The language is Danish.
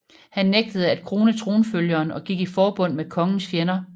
Han nægtede at krone tronfølgeren og gik i forbund med kongens fjender